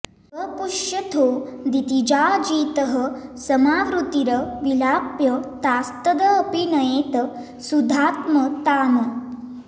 वपुष्यथो दितिजाजितः समावृतीर् विलाप्य तास्तद् अपि नयेत् सुधात्मताम्